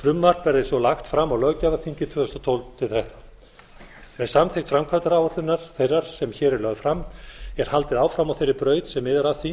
frumvarp verði svo lagt fram á löggjafarþingi tvö þúsund og tólf til tvö þúsund og þrettán með samþykkt framvæmdaáætlunar þeirrar sem hér er lögð fram er haldið áfram á þeirri braut sem miðar að því